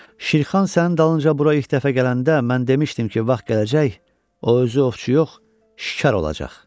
Şirxan sənin dalınca bura ilk dəfə gələndə mən demişdim ki, vaxt gələcək, o özü ovçu yox, şikar olacaq.